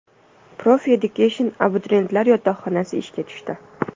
Profi Education abituriyentlar yotoqxonasi ishga tushdi.